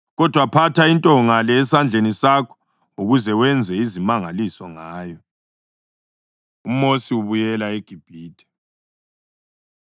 Kodwa phatha intonga le esandleni sakho ukuze wenze izimangaliso ngayo.” UMosi Ubuyela EGibhithe